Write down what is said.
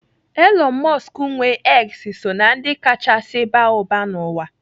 Elon Musk nwee X so na ndị kachasị baa ụba n'ụwa.